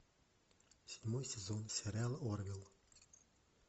седьмой сезон сериал орвилл